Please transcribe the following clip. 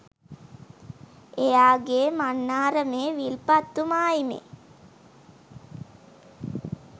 එයාගේ මන්නාරමේ විල්පත්තු මායිමේ